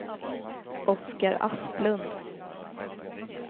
Oscar Asplund